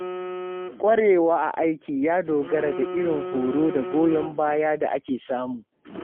ƙwarewa a aiki ya dogara da irin horo da goyon bayan da ake samu.